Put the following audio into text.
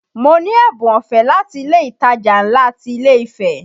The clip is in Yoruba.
Mo ní ẹ̀bùn ọ̀fẹ́ láti ilé ìtajà ńlá ti ilé Ifẹ